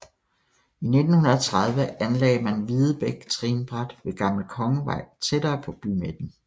I 1930 anlagde man Videbæk trinbræt ved Gammel Kongevej tættere på bymidten